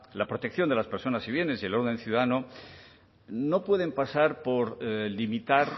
la protección de las personas y bienes y el orden ciudadano no pueden pasar por limitar